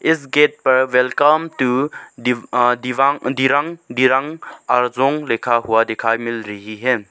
इस गेट पर welcome to the um दिवा दिरंग दिरंग अर्जोंग लिखा हुआ दिखाई मिल रही है।